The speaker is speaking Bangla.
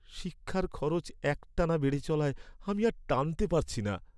শিক্ষার খরচ একটানা বেড়ে চলায় আমি আর টানতে পারছি না।